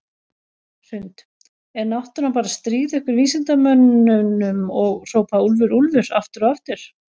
Hrund: Er náttúran bara að stríða ykkur vísindamönnunum og hrópa úlfur, úlfur aftur og aftur?